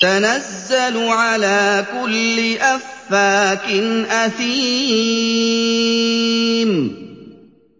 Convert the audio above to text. تَنَزَّلُ عَلَىٰ كُلِّ أَفَّاكٍ أَثِيمٍ